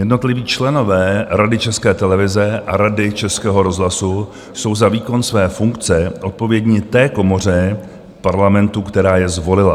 Jednotliví členové Rady České televize a Rady Českého rozhlasu jsou za výkon své funkce odpovědní té komoře Parlamentu, která je zvolila.